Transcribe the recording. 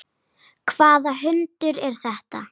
Hvaða hundur er þetta?